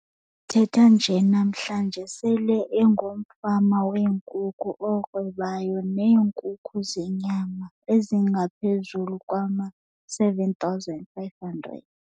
Sithetha nje namhlanje, sele engumfama weenkukhu orhwebayo neenkukhu zenyama ezingaphezulu kwama-7 500.